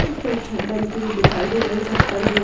एक छत डलती हुई दिखाई दे रही है छत पर --